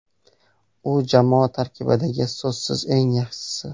U jamoa tarkibidagi, so‘zsiz eng yaxshisi.